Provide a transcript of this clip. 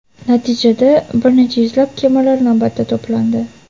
Natijada, bir necha yuzlab kemalar navbatda to‘plandi.